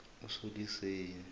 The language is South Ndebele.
usoliseni